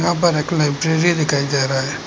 यहां पर एक लाइब्रेरी दिखाई दे रहा है।